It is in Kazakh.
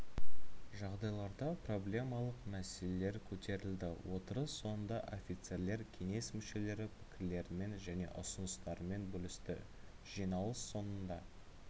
жағдайларда проблемалық мәселелер көтерілді отырыс соңында офицерлер кеңес мүшелері пікірлерімен және ұсыныстарымен бөлісті жиналыс соңында